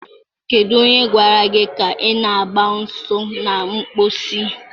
Kedu onye gwara gị ka ị na-agba ọsọ na mposi?